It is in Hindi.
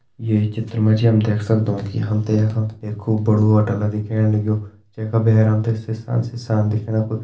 ये चित्र मा जी हम देख सकदों की हम तें यखम एक खूब बड़ु होटल दिखेण लग्युं जै का भैर हम तें शीशा शीशान दिखेणा कुई --